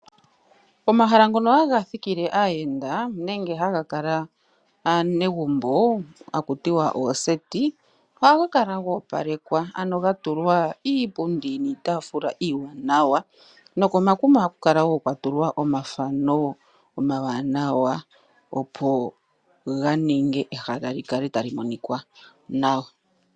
Omahala ngono ha ga thikile aayenda nenge ha ga kala aanegumbo ha ku ti wa ooseti ohaga kala ga opalekwa, ano ga tulwa iipundi niitaafula iiwanawa, nokomakuma ohaku kala wo kwa tulwa omafano omawanawa opo ga ninge ehala li kale tali monika nawa